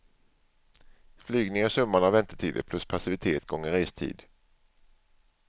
Flygning är summan av väntetider plus passivitet gånger restid.